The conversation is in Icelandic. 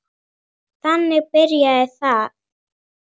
Þannig byrjaði það.